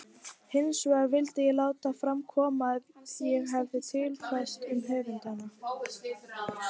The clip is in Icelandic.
Hinsvegar vildi ég láta fram koma það sem ég hefi tilfært um höfundana.